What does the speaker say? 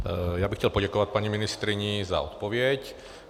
Já bych chtěl poděkovat paní ministryni za odpověď.